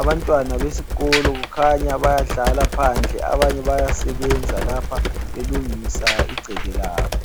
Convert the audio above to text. Abantwana besikolo kukhanya bayadlala phandle abanye bayasebenza lapha belungisa igceke labo.